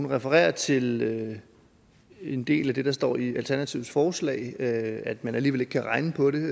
refererer til en del af det der står i alternativets forslag at man alligevel ikke kan regne på det